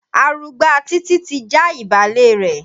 Arugbá Títí ti já ìbálẹ̀ rẹ̀.